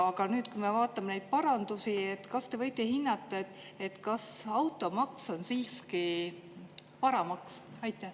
Aga nüüd, kui me vaatame neid parandusi, kas te võite hinnata, kas automaks on siiski varamaks?